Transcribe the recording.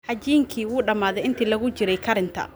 Cajiinkii wuu dhamaaday intii lagu jiray karinta